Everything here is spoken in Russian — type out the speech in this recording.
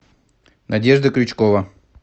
надежда крючкова